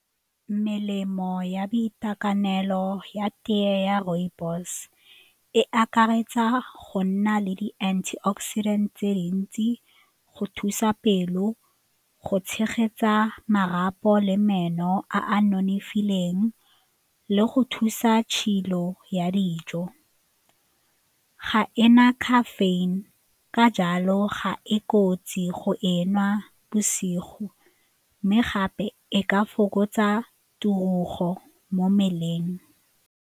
Melemo ya boitekanelo ya tee ya rooibos e akaretsa go nna le di-antioxidant tse dintsi, go thusa pelo, go tshegetsa marapo le meno a a nonofileng le go thusa tshilo ya dijo. Ga e na caffeine ka jalo ga e kotsi go e nwa bosigo mme gape e ka fokotsa mo mmeleng.